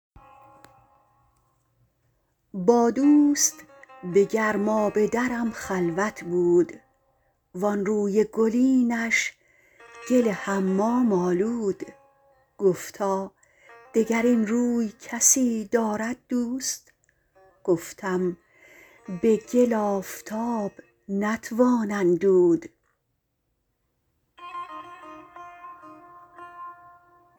با دوست به گرمابه درم خلوت بود وانروی گلینش گل حمام آلود گفتا دگر این روی کسی دارد دوست گفتم به گل آفتاب نتوان اندود